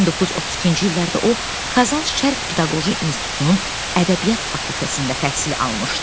1932-ci illərdə o Kazan Şərq Pedaqoji İnstitutunun ədəbiyyat fakültəsində təhsil almışdı.